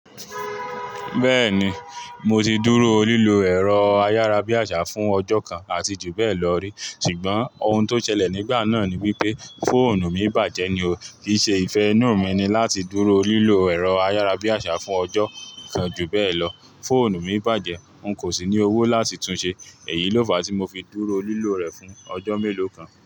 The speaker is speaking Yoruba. Bẹ́ẹ̀ni, mo ti dúró lílo ẹ̀rọ ayárabíàṣá fún ọjọ́ kan àti ju bẹ́ẹ̀ lọ rí, ṣùgbọ́n ohun tó ṣẹlẹ̀ nígbà náà ni wípé fóònù mi bàjẹ́ ni o. Kì í ṣe ìfẹ́ inú mi ni láti dúró lílo ẹ̀rọ ayárabíàṣá fún ọjọ́ kan ju bẹ́ẹ̀ lọ. Fóònù mi bàjẹ́, n kò sì ní owó láti tun ṣe. Èyí ló fa tí mo fi dúró lílo rẹ̀ fún ọjọ́ mélòó kan.